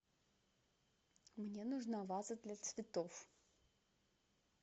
мне нужна ваза для цветов